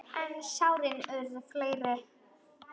En sárin urðu fleiri.